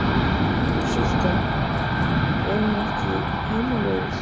Sultan, er hún ekki heimalöguð?